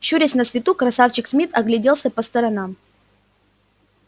щурясь на свету красавчик смит огляделся по сторонам